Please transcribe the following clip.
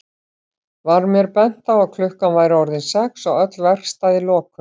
Var mér bent á að klukkan væri orðin sex og öll verkstæði lokuð.